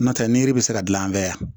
N'o tɛ ni yiri bɛ se ka dilan an fɛ yan